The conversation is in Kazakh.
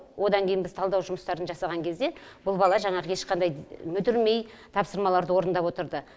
одан кейінгі талдау жұмыстарын жасаған кезде бұл бала жаңағы ешқандай мүдірмей тапсырмаларды орындап отырды